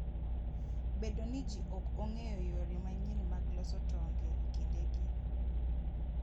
Bedo ni ji ok ong'eyo yore manyien mag loso tong' e kindegi.